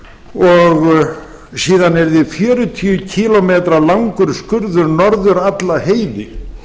og síðan yrði fjörutíu kílómetra langur skurður norður alla heiði